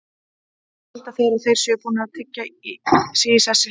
Þá halda þeir að þeir séu búnir að tryggja sig í sessi.